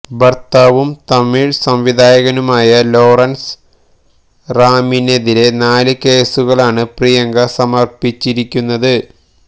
ഭര്ത്താവും തമിഴ് സംവിധായകനുമായ ലോറന്സ് റാമിനെതിരെ നാല് കേസുകളാണ് പ്രിയങ്ക സമര്പ്പിച്ചിരിയ്ക്കുന്നത്